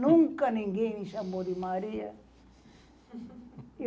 Nunca ninguém me chamou de Maria.